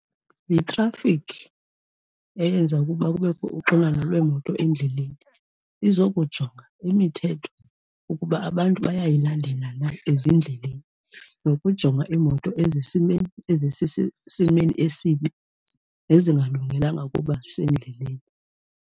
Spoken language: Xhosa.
Yithrafikhi eyenza ukuba kubekho uxinano lweemoto endleleni, izokujonga imithetho ukuba abantu bayayilandela na ezindleleni, nokujonga iimoto ezisesimeni esibi nezingalungelanga ukuba zisendleleni.